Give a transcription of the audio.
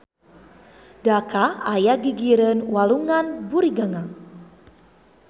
Dhaka aya di gigireun Walungan Buriganga.